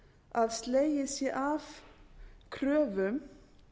að slegið sé af kröfum